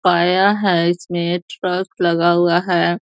पाया है इसमें ट्रक लगा हुआ हैं।